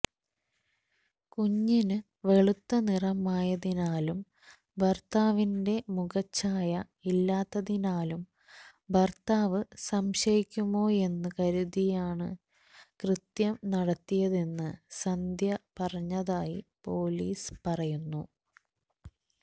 കുഞ്ഞിന് വെളുത്ത നിറമായതിനാലും ഭർത്താവിന്റെ മുഖച്ഛായ ഇല്ലാത്തതിനാലും ഭർത്താവ് സംശയിക്കുമോയെന്നു കരുതിയുമാണു കൃത്യം നടത്തിയതെന്നു സന്ധ്യ പറഞ്ഞതായി പൊലീസ് പറഞ്ഞു